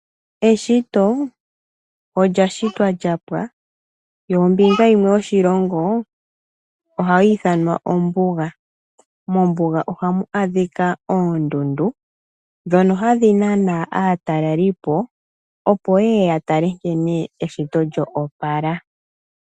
Eshito olya shitwa lya pwa, yo ombinga yimwe yoshilongo ohayi ithanwa ombuga, mombuga ohamu adhika oondundu ndhono hadhi nana aataleli po, opo yeye ya tale nkene eshito lyo opala.